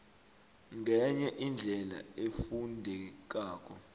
ngenye indlela efundekako